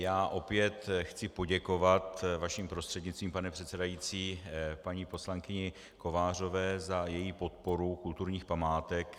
Já opět chci poděkovat vaším prostřednictvím, pane předsedající, paní poslankyni Kovářové za její podporu kulturních památek.